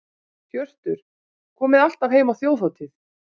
Hjörtur: Komið alltaf heim á Þjóðhátíð?